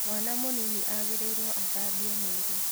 Mwana mũnini agĩrĩirwo athabio mwĩrĩ.